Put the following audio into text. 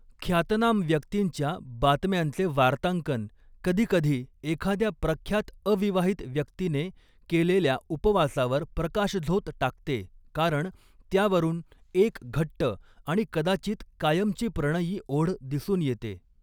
ख्यातनाम व्यक्तींच्या बातम्यांचे वार्तांकन कधीकधी एखाद्या प्रख्यात अविवाहित व्यक्तीने केलेल्या उपवासावर प्रकाशझोत टाकते कारण त्यावरून एक घट्ट आणि कदाचित कायमची प्रणयी ओढ दिसून येते.